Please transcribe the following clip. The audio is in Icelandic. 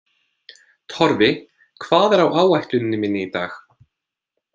Torfi, hvað er á áætluninni minni í dag?